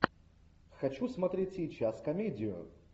хочу смотреть сейчас комедию